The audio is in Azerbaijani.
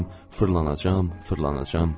Fırlanacam, fırlanacam.